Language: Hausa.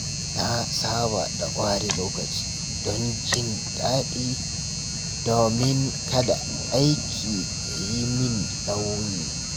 Na saba da ware lokaci don jin daɗi domin kada aiki ya yi min nauyi.